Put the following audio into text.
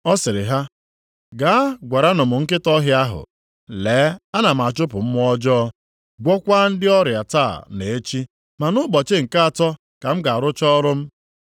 Ọ sịrị ha, “Gaa gwaranụ m nkịta ọhịa ahụ, lee, ana m achụpụ mmụọ ọjọọ, gwọọkwa ndị ọrịa taa na echi, ma nʼụbọchị nke atọ ka m ga-arụcha ọrụ m.